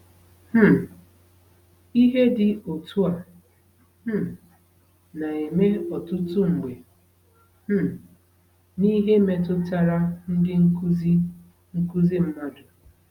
um Ihe dị otu a um na-eme ọtụtụ mgbe um n’ihe metụtara ndị nkuzi nkuzi mmadụ.